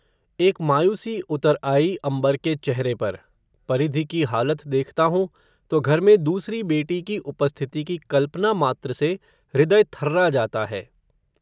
एक मायूसी उतर आई, अम्बर के चेहरे पर, परिधि की हालत देखता हूं, तो घर में, दूसरी बेटी की उपस्थिति की कल्पना मात्र से, हृदय थर्रा जाता है